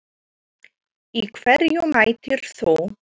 Í hverju mætir þú?